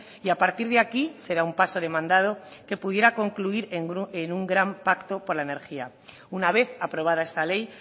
y a partir de aquí será un paso demandado que pudiera concluir en un gran pacto por la energía una vez aprobada esta ley